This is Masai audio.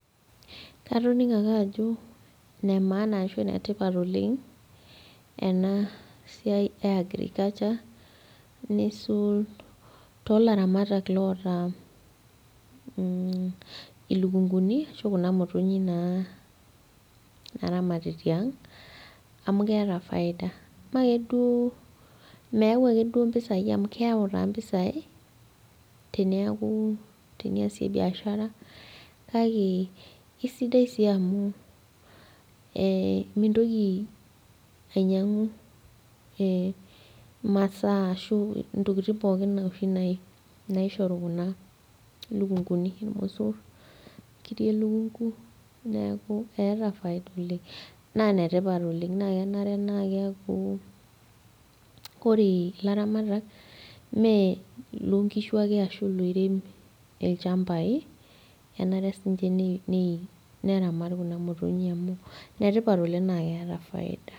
Katoning'o ake ajo ine maana ashu inetipat oleng ena siai e agriculture neisul tolaramatak loota mh ilukunguni ashu kuna motonyi naa naramati tiang amu keeta faida imee akeduo meyau akeduo impisai amu keyau taa impisai teniaku teniaku teniasie biashara kake kisidai sii amu eh mintoki ainyiang'u eh imasaa ashu intokiting pookin oshi nai naishoru kuna lukunguni irmosorr inkiri elukungu neeku eeta faida oleng naa inetipat naa kenare naa keaku ore ilaramatak imee ilonkishu ake ashu iloirem ilchambai enare sinche nei nei neramat kunamotonyi amu inetipat oleng naa keeta faida.